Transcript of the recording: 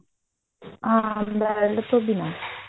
ਹਾਂ belt ਤੋਂ ਬਿਨਾ